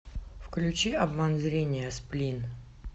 включи обман зрения сплин